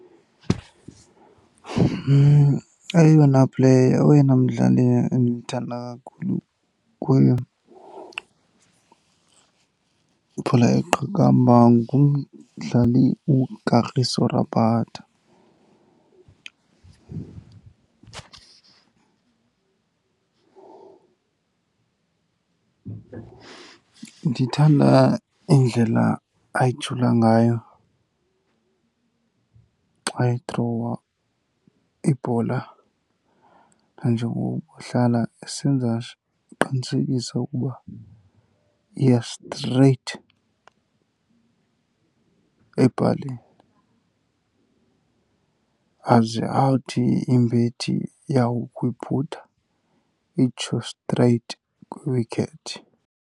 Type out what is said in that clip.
Eyona player, oyena mdlali endimthanda kakhulu ibhola yeqakamba ngumdlali uKagiso Rabada. Ndithanda indlela ayijula ngayo xa ethrowa ibhola nanjengoko ehlala esenza , eqinisekisa ukuba iya straight epalini. Aze athi imbethi yakuyibhuda itsho straight kwi-wicket.